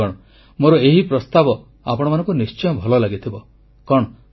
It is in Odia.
ବନ୍ଧୁଗଣ ମୋର ଏହି ପ୍ରସ୍ତାବ ଆପଣମାନଙ୍କୁ ନିଶ୍ଚୟ ଭଲ ଲାଗିଥିବ